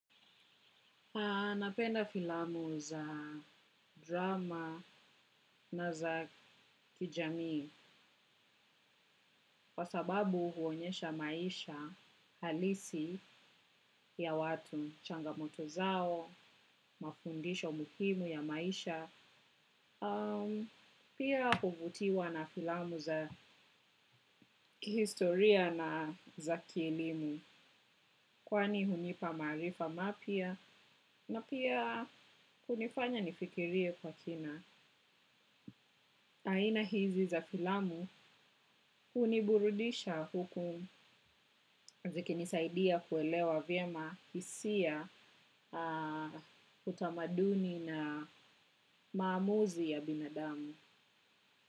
Napenda filamu za drama na za kijamii, kwa sababu huonyesha maisha halisi ya watu, changamoto zao, mafundisho muhimu ya maisha, pia huvutiwa na filamu za historia na za kielimu, kwani hunipa maarifa mapya, na pia hunifanya nifikirie kwa kina. Aina hizi za filamu huniburudisha huku ziki nisaidia kuelewa vyema hisia utamaduni na maamuzi ya binadamu.